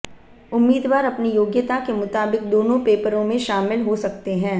उम्मीदवार अपनी योग्यता के मुताबिक दोनों पेपरों में शामिल हो सकते हैं